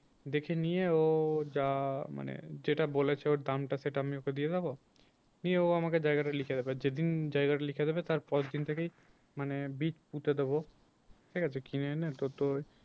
দেখে নিয়ে ও যা মানে যেটা বলেছে ওর দামটা সেটা আমি ওকে দিয়ে দেবো। নিয়ে ও আমাকে জায়গাটা লিখে দেবে যেদিন জায়গাটা লিখে দেবে তার পরের দিন থেকেই মানে বীজ পুঁতে দেবো ঠিক আছে কিনে এনে